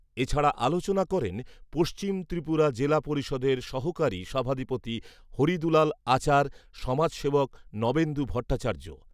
এছাড়া আলোচনা করেন পশ্চিম ত্রিপুরা জেলা পরিষদের সহকারী সভাধিপতি হরিদুলাল আচার, সমাজসেবক নবেন্দু ভট্টাচার্য।